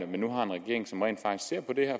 man nu har en regering som rent faktisk ser på det